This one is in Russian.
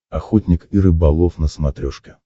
охотник и рыболов на смотрешке